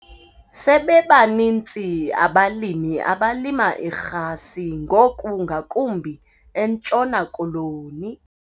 Sebebaninzi abalimi abalima irhasi ngoku ngakumbi eNtshona Koloni.